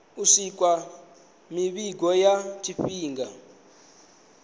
u swikisa mivhigo ya tshifhinga